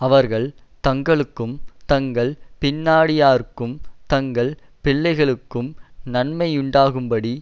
அவர்கள் தங்களுக்கும் தங்கள் பின்னடியாருக்கும் தங்கள் பிள்ளைகளுக்கும் நன்மையுண்டாகும்படி